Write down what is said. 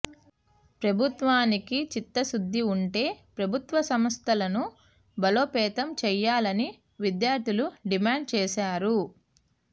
ప్రభుత్వానికి చిత్తశుద్ది ఉంటే ప్రభుత్వ సంస్థలను బలోపేతం చేయాలని విద్యార్థులు డిమాండ్ చేశారు